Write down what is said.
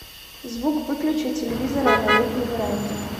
звук выключи телевизора на летней веранде